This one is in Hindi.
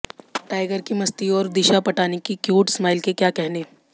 टाइगर की मस्ती और दिशा पटानी की क्यूट स्माइल के क्या कहने